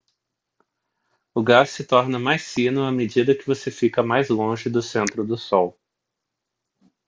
o gás se torna mais fino à medida que você fica mais longe do centro do sol